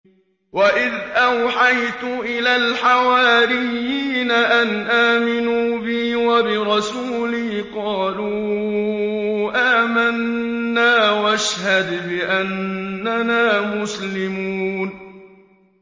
وَإِذْ أَوْحَيْتُ إِلَى الْحَوَارِيِّينَ أَنْ آمِنُوا بِي وَبِرَسُولِي قَالُوا آمَنَّا وَاشْهَدْ بِأَنَّنَا مُسْلِمُونَ